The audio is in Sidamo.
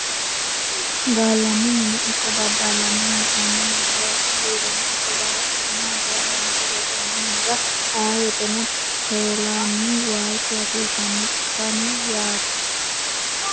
Gallanni mine ikko daddaline hee'nanni mine loosu biirono ikko babbaxxitino hajora loonse worranni minara ayee woyteno telanihu waalchu hasiisano cufanu yaate.